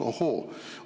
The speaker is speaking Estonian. Ohoo!